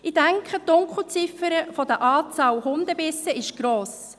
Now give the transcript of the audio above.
Ich denke, die Dunkelziffer der Anzahl Hundebisse ist gross.